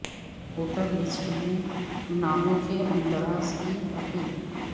voter list میں ناموں کے اندراج کی اپیل